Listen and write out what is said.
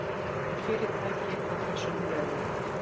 Fyrirtækið á þessum blöðum.